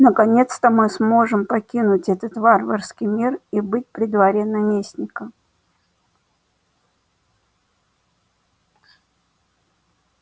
наконец-то мы сможем покинуть этот варварский мир и быть при дворе наместника